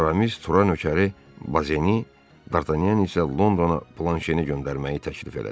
Aramis Turanın nökəri Bazeni, Dartanyan isə Londona Planşeni göndərməyi təklif elədi.